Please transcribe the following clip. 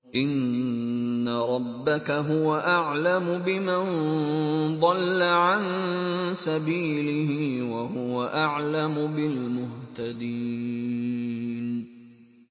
إِنَّ رَبَّكَ هُوَ أَعْلَمُ بِمَن ضَلَّ عَن سَبِيلِهِ وَهُوَ أَعْلَمُ بِالْمُهْتَدِينَ